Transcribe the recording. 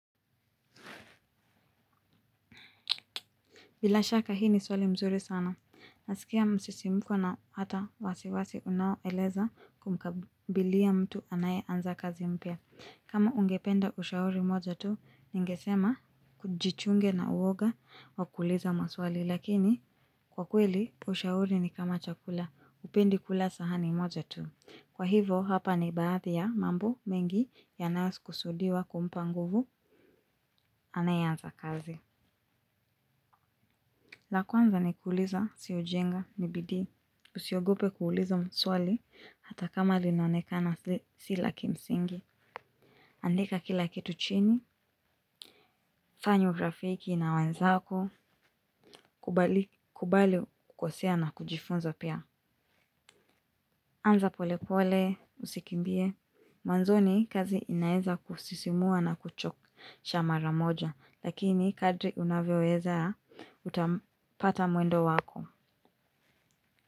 Bila shaka hii ni swali mzuri sana, nasikia msisimko na hata wasiwasi unaoeleza kumkabilia mtu anaye anza kazi mpya. Kama ungependa ushauri moja tu, ningesema kujichunge na uwoga wa kuuliza maswali lakini kwa kweli ushauri ni kama chakula upendi kula sahani moja tu. Kwa hivo hapa ni baathi ya mambo mengi yanayo kusudiwa kumpa nguvu anayeanza kazi. La kwanza ni kuuliza si ujinga ni bidii. Usiogope kuuliza mswali hata kama linaonekana si la kimsingi. Andika kila kitu chini, fanya urafiki na wanzako, kubali kukosea na kujifunza pia. Anza pole pole, usikimbie. Mwanzoni kazi inaeza kusisimua na kuchokesha mara moja, lakini kadri unavyoweza utapata mwendo wako.